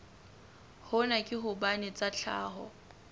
hona ke hobane tsa tlhaho